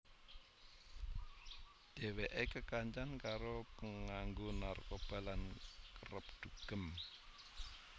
Dheweke kekancan karo penganggo narkoba lan kerep dugem